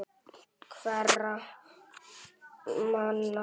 Hverra manna?